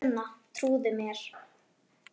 Elsku Sunna, trúðu mér!